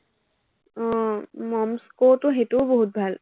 উম মম স্কুটো সেইটোও বহুত ভাল।